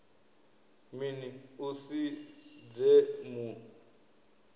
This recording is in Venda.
mini u si dze mu